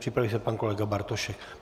Připraví se pan kolega Bartošek.